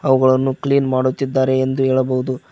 ಅವುಗಳನ್ನು ಕ್ಲೀನ್ ಮಾಡುತ್ತಿದ್ದಾರೆ ಎಂದು ಹೇಳಬಹುದು.